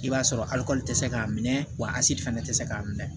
I b'a sɔrɔ tɛ se k'a minɛ wa asi fana tɛ se k'a minɛ